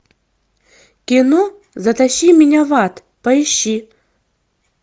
кино затащи меня в ад поищи